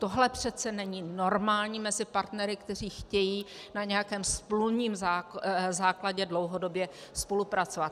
Tohle přece není normální mezi partnery, kteří chtějí na nějakém smluvním základě dlouhodobě spolupracovat.